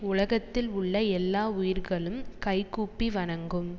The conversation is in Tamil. உலகத்தில் உள்ள எல்லா உயிர்களும் கைகூப்பி வணங்கும்